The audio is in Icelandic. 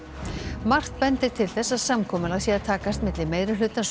margt bendir til þess að samkomulag sé að takast milli meirihlutans og